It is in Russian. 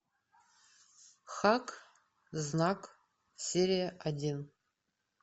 хак знак серия один